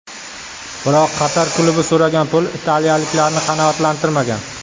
Biroq Qatar klubi so‘ragan pul italiyaliklarni qanoatlantirmagan.